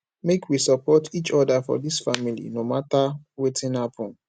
make we support each oda for dis family no mata wetin happen